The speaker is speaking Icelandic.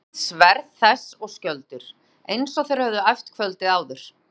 Íslands, sverð þess og skjöldur, eins og þeir höfðu æft kvöldið áður.